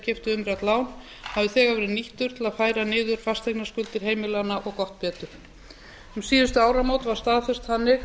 keyptu umrætt lán hafði þegar verið nýttur til að færa niður fasteignaskuldir heimilanna og gott betur um síðustu áramót var staðfest þannig